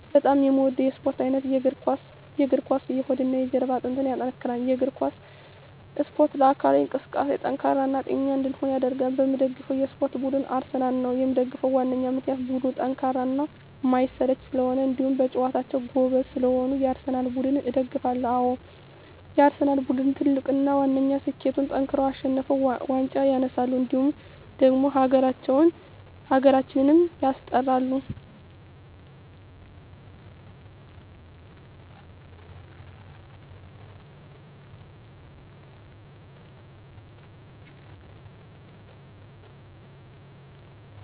በጣም የምወደው የስፓርት አይነት የእግር ኳስ። የእግር ኳስ የሆድና የጀርባ አጥንትን ያጠነክራል። የእግር ኳስ እስፖርት ለአካላዊ እንቅስቃሴ ጠንካራ እና ጤነኛ እንድንሆን ያደርጋል። የምደግፈው የስፓርት ቡድን አርሰናል ነው። የምደግፍበት ዋነኛ ምክንያት ቡድኑ ጠንካራና የማይሰለች ስለሆኑ እንዲሁም በጨዋታቸው ጎበዝ ስለሆኑ የአርሰናል ቡድንን እደግፋለሁ። አዎ የአርሰናል ቡድን ትልቁና ዋነኛ ስኬቱጠንክረው አሸንፈው ዋንጫ ያነሳሉ እንዲሁም ደግሞ ሀገራችንም ያስጠራሉ።